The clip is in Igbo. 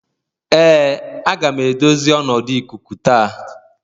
Ee aga m edozi ọnọdụ ikuku taa